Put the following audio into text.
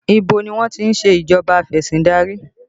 Ibo ni wọ́n ti ń ṣe ìjọba afesindari?